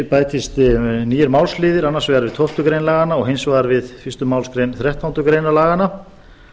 bætist nýir málsliðir annars vegar við tólfta grein laganna og hins vegar við fyrstu málsgreinar þrettándu greinar laganna